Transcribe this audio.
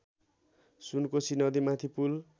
सुनकोशी नदीमाथि पुल